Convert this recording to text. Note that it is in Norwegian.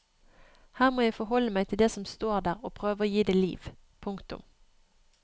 Her må jeg forholde meg til det som står der og prøve å gi det liv. punktum